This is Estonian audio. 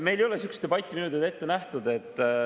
Meil ei ole sihukest debatti minu teada ette nähtud.